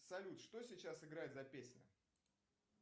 салют что сейчас играет за песня